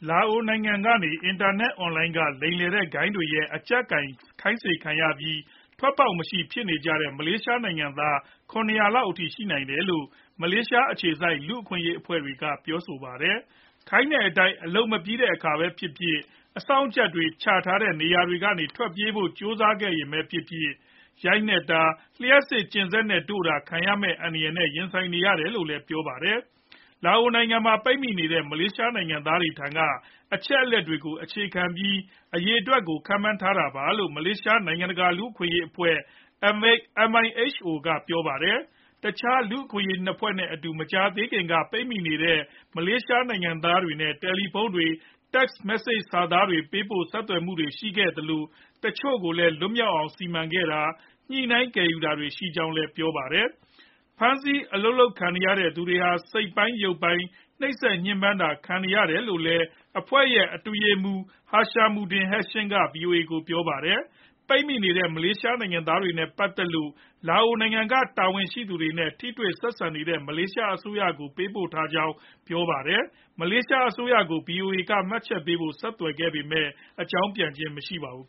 လာအိုနိုင်ငံကနေ အင်တာနက် အွန်လိုင်းက လိမ်လည်တဲ့ဂိုဏ်းတွေရဲ့ အကျပ်ကိုင် ခိုင်းစေခံနေရပြီး ထွက်ပေါက်မရှိ ဖြစ်နေကြတဲ့ မလေးရှားနိုင်ငံသား ၇ဝဝ လောက် ရှိနိုင်တယ်လို့ မလေးရှား အခြေစိုက် လူ့အခွင့်အရေးအဖွဲ့တွေက ပြောလိုက်ပါတယ်။ ခိုင်းတဲ့အတိုင်း အလုပ်မပြီးတဲ့အခါမှာပဲဖြစ်ဖြစ်၊ အစောင့်အကြပ်တွေ ချထားတဲ့ နေရာတွေကနေ ထွက်ပြေးဖို့ ကြိုးစားခဲ့ရင်ပဲဖြစ်ဖြစ်၊ ရိုက်နှက်တာ၊ လျှပ်စစ် ကျင်စက်နဲ့တို့တာ ခံရမယ့် အန္တရာယ်နဲ့ ရင်ဆိုင်နေရတယ်လို့လည်း ပြောပါတယ်။ လာအိုနိုင်ငံမှာ ပိတ်မိနေကြတဲ့ မလေးရှား နိုင်ငံသားတချို့ထံက ရရှိတဲ့ အချက်အလက်တွေကို အခြေခံပြီး အရေအတွက်ကို ခန့်မှန်းထားတာလို့လည်း မလေးရှား နိုင်ငံတကာ လူ့အခွင့်အရေးအဖွဲ့ MIHO ကပြောပါတယ်။ တခြားလူ့အခွင့်အရေး အဖွဲ့ ၂ ခုနဲ့အတူ မကြာသေးခင်လတွေက ပိတ်မိနေတဲ့ မလေးရှားနိုင်ငံသားတွေနဲ့ တယ်လီဖုန်းတွေ၊ Text Message စာသားတွေ ပေးပို့ပြီး ဆက်သွယ်မှုတွေရှိခဲ့သလို၊ တချို့ကို လွတ်မြောက်အောင် စီမံပေးခဲ့တာ၊ ညှိနှိုင်း ကယ်ယူခဲ့တာတွေ ရှိခဲ့ကြောင်းလည်း ပြောပါတယ်။ ဖမ်းဆီးအလုပ်ခိုင်းခံခဲ့ရသူတွေဟာ စိတ်ပိုင်း ရုပ်ပိုင်း နိုပ်စက်ညှင်းပန်းတာခံခဲ့ရတယ်လို့လည်း အဖွဲ့ရဲ့ အတွင်းရေးမှူးချုပ် Hishamuddin Hashim က ဗွီအိုအေ ကို ပြောပါတယ်။ ပိတ်မိနေတဲ့ မလေးရှားနိုင်ငံသားတွေနဲ့ ပတ်သက်လို့ လာအိုနိုင်ငံက တာဝန်ရှိသူတွေနဲ့ ထိတွေ့ဆက်ဆံနေတဲ့ မလေးရှားအစိုးရကို ပေးပို့ထားကြောင်းလည်း ပြောပါတယ်။ မလေးရှား အစိုးရကို VOA က မှတ်ချက်ပေးဖို့ ဆက်သွယ်ခဲ့ပေမယ့် အကြောင်းပြန်ခြင်းမရှိပါဘူး